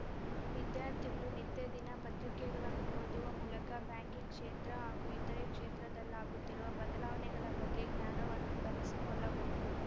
ವಿದ್ಯಾರ್ಥಿಗಳು ನಿತ್ಯ ದಿನ ಪತ್ರಿಕೆಗಳನ್ನು ಓದುವ ಮೂಲಕ ಬ್ಯಾಂಕಿಂಗ್‌ ಕ್ಷೇತ್ರ ಹಾಗೂ ಇತರೆ ಕ್ಷೇತ್ರದಲ್ಲಾಗುತ್ತಿರುವ ಬದಲಾವಣೆಗಳ ಬಗ್ಗೆ ಜ್ಞಾನವನ್ನು ಬೆಳೆಸಿಕೊಳ್ಳಬಹುದು